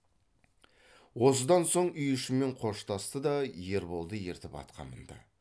осыдан соң үй ішімен қоштасты да ерболды ертіп атқа мінді